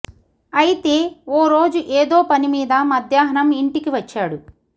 అయితే ఓ రోజు ఏదో పని మీద మధ్యాహ్నం ఇంటికి వచ్చాడు